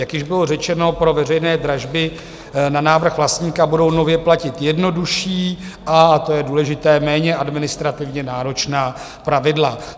Jak již bylo řečeno, pro veřejné dražby na návrh vlastníka budou nově platit jednodušším a to je důležité, méně administrativně náročná pravidla.